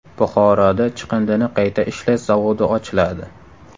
Buxoroda chiqindini qayta ishlash zavodi ochiladi.